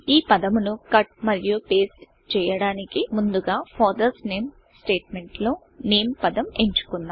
ఈ పదమును cutకట్ మరియు pasteపేస్ట్ చేయడానికి ముందుగా ఫాదర్స్ NAMEఫాదర్స్ నేమ్ స్టేట్మెంట్ లో NAMEనేమ్ పదం ఎంచుకుందాం